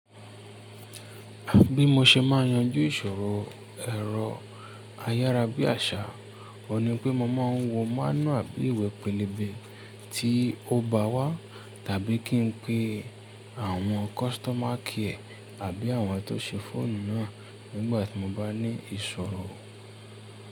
Bí mo ṣe máa yanjú ìṣòro ẹ̀rọ ayárabíàṣá, òun ni pé mo máa ń wo mánúàbí ìwé pélébé tí ó bá wá tàbí kí n pe àwọn kọ́sítọ́mà kiẹ́ àbí àwọn tó ṣe fóònù náà nígbà tí mo bá ní ìṣòro.